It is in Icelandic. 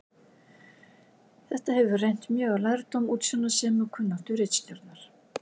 Þetta hefur reynt mjög á lærdóm, útsjónarsemi og kunnáttu ritstjórnar.